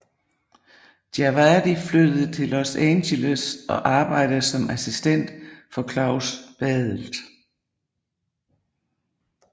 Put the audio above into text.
Djawadi flyttede til Los Angeles og arbejdede som assistent for Klaus Badelt